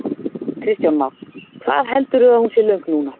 Kristján Már: Hvað heldurðu að hún sé löng núna?